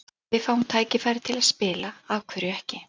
Ef við fáum tækifærið til að spila, af hverju ekki?